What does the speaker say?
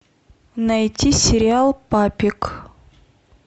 найти сериал папик